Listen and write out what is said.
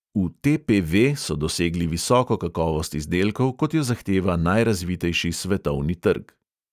V TPV so dosegli visoko kakovost izdelkov, kot jo zahteva najrazvitejši svetovni trg.